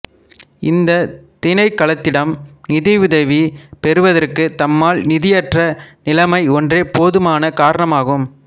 இந்த திணைக்களத்திடம் நிதியுதவி பெறுவதற்கு தம்மால் நிதியற்ற நிலமை ஒன்றே போதுமான காரணமாகும்